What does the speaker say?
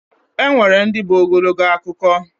Enwere ndi bụ Ogologo akụkọ.